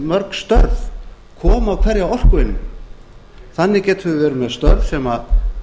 mörg störf koma á hverja orkueiningu þannig getum við verið með störf sem